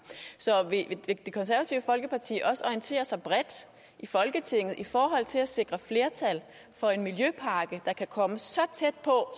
så vil det konservative folkeparti orientere sig bredt i folketinget i forhold til at sikre flertal for en miljøpakke der kan komme så tæt